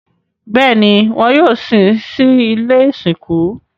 Bẹ́ẹ̀ni, wọn yóò sin sí ilé ìsìnkú